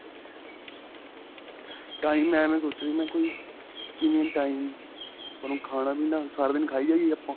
time ਮੈਂ ਐਵੇ ਸੋਚ ਰਿਹਾ ਮੈਂ ਕੋਈ ਕਿਵੇਂ time ਆਪਾਂ ਨੂੰ ਖਾਣਾ ਪੀਣਾ ਸਾਰਾ ਦਿਨ ਖਾਈ ਜਾਈਏ ਆਪਾਂ